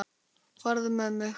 Farðu með mig.